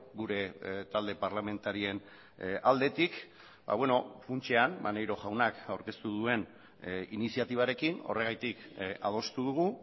gure talde parlamentarien aldetik funtsean maneiro jaunak aurkeztu duen iniziatibarekin horregatik adostu dugu